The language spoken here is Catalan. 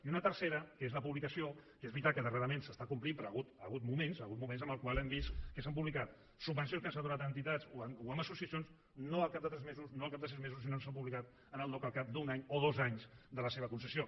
i una tercera que és la publicació que és veritat que darrerament s’està complint però hi ha hagut moments hi ha hagut moments en els quals hem vist que s’han publicat subvencions que s’han donat a entitats o a associacions no al cap de tres mesos no al cap de sis mesos sinó que s’han publicat al dogc al cap d’un any o dos anys de la seva concessió